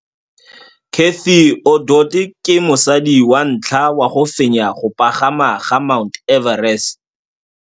Cathy Odowd ke mosadi wa ntlha wa go fenya go pagama ga Mt Everest.